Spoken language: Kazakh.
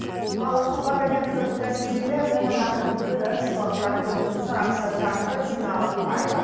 ал хабар агенттігінің тәжірибелі мамандарының бірі жаңалықтар бөлімінің сарапшы редакторы дина букаева